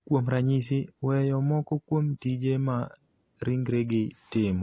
kuom ranyisi, weyo moko kuom tije ma ringregi timo.